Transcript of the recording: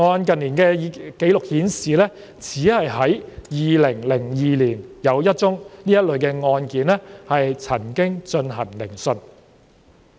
近年的紀錄顯示，只在2002年有一宗這類的案件曾進行聆訊。